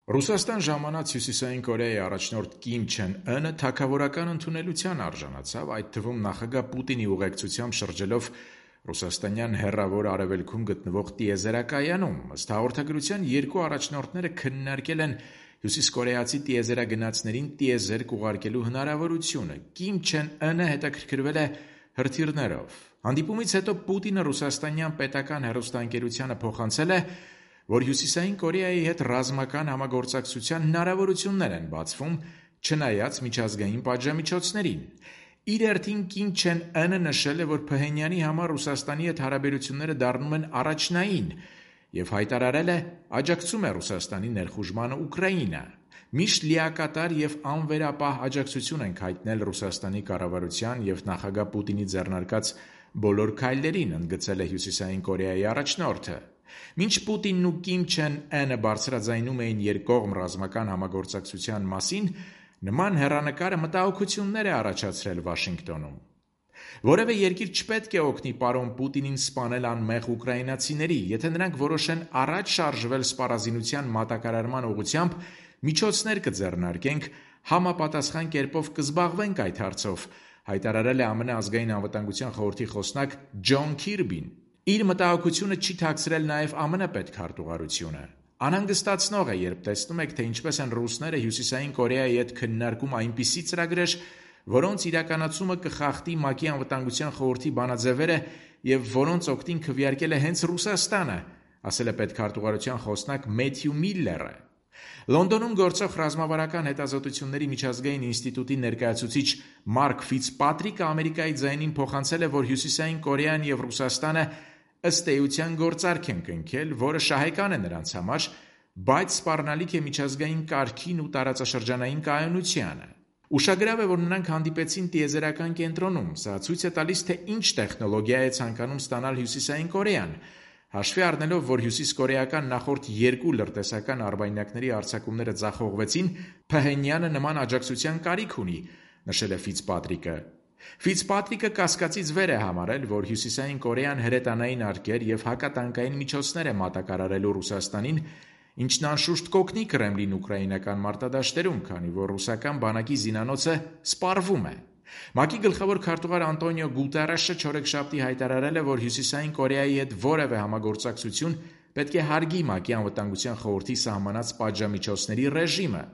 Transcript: Ռուսաստան ժամանակ Հյուսիսային Կորեայի առաջնորդ Կիմ Չեն Ընը թագավորական ընդունելության արժանացավ՝ այդ թվում՝ նախագահ Պուտինի ուղեկցությամբ շրջելով ռուսաստանյան Հեռավոր Արևելքում գտնվող տիեզերակայանում: Ըստ հաղորդագրության, երկու առաջնորդները քննարկել են հյուսիսկորեացի տիեզերագնացներին տիեզերք ուղարկելու հնարավորությունը, Կիմ Չեն Ընը հետաքրքրվել է հրթիռներով: Հանդիպումից հետո Պուտինը ռուսաստանյան պետական հեռուստաընկերությանը փոխանցել է, որ Հյուսիսային Կորեայի հետ ռազմական համագործակցության հնարավորություններ են բացվում՝ չնայած միջազգային պատժամիջոցներին։ Իր հերթին՝ Կիմ Չեն Ընը նշել է, որ Փհենյանի համար Ռուսաստանի հետ հարաբերությունները դառնում են առաջնային, և հայտարարել է՝ աջակցում է Ռուսաստանի ներխուժմանը Ուկրաինա։ «Միշտ լիակատար և անվերապահ աջակցություն ենք հայտնել Ռուսաստանի կառավարության և նախագահ Պուտինի ձեռնարկած բոլոր քայլերին»,- ընդգծել է Հյուսիսային Կորեայի առաջնորդը։ Մինչ Պուտինն ու Կիմ Չեն Ընը բարձրաձայնում էին երկկողմ ռազմական համագործակցության մասին, նման հեռանկարը մտահոգություններ է առաջացրել Վաշինգտոնում։ «Որևէ երկիր չպետք է օգնի պարոն Պուտինին՝ սպանել անմեղ ուկրաինացիների: Եթե նրանք որոշեն առաջ շարժվել սպառազինության ուղղությամբ, միջոցներ կձեռնարկենք, համապատասխան կերպով կզբաղվենք այդ հարցով»,- հայտարարել է ԱՄՆ Ազգային անվտանգության խորհրդի խոսնակ Ջոն Քիրբին: Իր մտահգությունը չի թաքցրել նաև ԱՄՆ պետքարտւղարությունը։ «Անհանգստացնող է, երբ տեսնում եք, թե ինչպես են ռուսները Հյուսիսային Կորեայի հետ քննարկում այնպիսի ծրագրեր, որոնց իրականացումը կխախտի ՄԱԿ-ի Անվտանգության խորհրդի բանաձևերը, և որոնց օգտին քվեարկել է հենց Ռուսաստանը»,- ասել է պետքարտուղարության խոսնակ Մեթյու Միլլերը: Լոնդոնում գործող Ռազմավարական հետազոտությունների միջազգային ինստիտուտի ներկայացուցիչ Մարկ Ֆիցպատրիկն «Ամերիկայի ձայնին» փոխանցել է, որ Հյուսիսային Կորեան և Ռուսաստանը, ըստ երևույթին, գործարք են կնքել, որը շահեկան է նրանց համար, բայց սպառնալիք է միջազգային կարգին ու տարածաշրջանային կայունությանը: «Ուշագրավ է, որ նրանք հանդիպեցին տիեզերական կենտրոնում: Սա ցույց է տալիս, թե ինչ տեխնոլոգիա է ցանկանում ստանալ Հյուսիսային Կորեան: Հաշվի առնելով, որ նախորդ երկու լրտեսական արբանյակների արձակումները ձախողվեցին՝ Փհենյանը նման աջակցության կարիք ունի»,- նշել է Ֆիցպատրիկը։ Ֆիցպատրիկը կասկածից վեր է համարել, որ Հյուսիսային Կորեան հրետանային արկեր և հակատանկային միջոցներ է մատակարարելու Ռուսաստանին, ինչն, անշուշտ, կօգնի Կրեմլին ուկրաինական մարտադաշտերում, քանի որ ռուսական բանակի զինանոցը սպառվում է: ՄԱԿ-ի գլխավոր քարտուղար Անտոնիո Գուտերեշը չորեքշաբթի հայտարարել է, որ Հյուսիսային Կորեայի հետ որևէ համագործակցություն պետք է հարգի ՄԱԿ-ի Անվտանգության խորհրդի սահմանած պատժամիջոցների ռեժիմը: